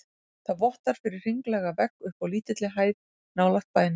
Það vottar fyrir hringlaga vegg uppi á lítilli hæð nálægt bænum.